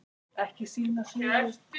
Allt tekur þetta sinn tíma.